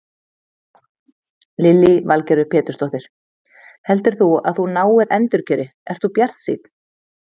Lillý Valgerður Pétursdóttir: Heldur þú að þú náir endurkjöri, ert þú bjartsýnn?